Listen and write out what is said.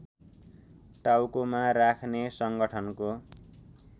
टाउकोमा राख्ने संगठनको